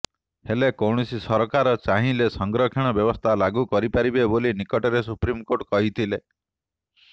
ହେଲେ କୌଣସି ସରକାର ଚାହିଁଲେ ସଂରକ୍ଷଣ ବ୍ୟବସ୍ଥା ଲାଗୁ କରିପାରିବେ ବୋଲି ନିକଟରେ ସୁପ୍ରିମକୋର୍ଟ କହିଥିଲେ